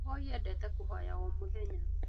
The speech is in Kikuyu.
Mũhoi endete kũhoya o mũthenya